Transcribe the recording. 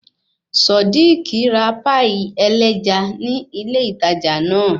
Sodiq ra páì ẹlẹ́ja ní ilé ìtajà náà